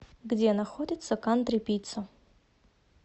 где находится кантри пицца